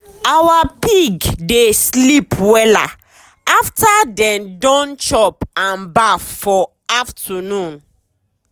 our pig dey sleep wella after dey don chop and baff for afternoon.